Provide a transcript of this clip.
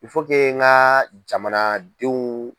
n ka jamanadenw.